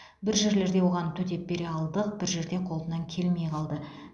бір жерлерде оған төтеп бере алдық бір жерде қолынан келмей қалды